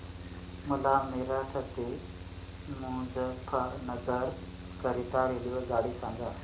मला मेरठ ते मुजफ्फरनगर करीता रेल्वेगाडी सांगा